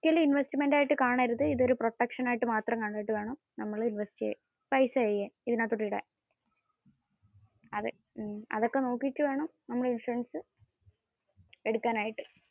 ഒരിക്കലും investment ആയിട്ട് കാണരുത്. ഇത് ഒരു protection ആയിട്ടു മാത്രം കണ്ടിട്ട് വേണം invest ചെയ്യാൻ. പൈസ ഇതിന്റെ അകത്തേക്ക് ഇടാൻ. അതൊക്കെ നോക്ക്കിയിട്ടു വേണം നമ്മൾ ഇൻഷുറൻസ് എടുക്കാനായിട്ടു.